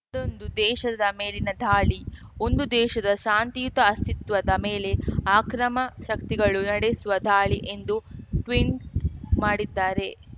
ಅದೊಂದು ದೇಶದ ಮೇಲಿನ ದಾಳಿ ಒಂದು ದೇಶದ ಶಾಂತಿಯುತ ಅಸ್ತಿತ್ವದ ಮೇಲೆ ಆಕ್ರಮ ಶಕ್ತಿಗಳು ನಡೆಸುವ ದಾಳಿ ಎಂದು ಟ್ವಿಂಟ್‌ ಮಾಡಿದ್ದಾರೆ